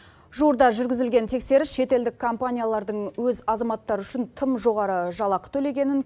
жуырда жүргізілген тексеріс шетелдік компаниялардың өз азаматтары үшін тым жоғары жалақы төлегенін